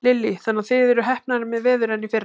Lillý: Þannig að þið eruð heppnari með veður en í fyrra?